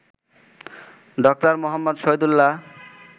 ড. মুহম্মদ শহীদুল্লাহ্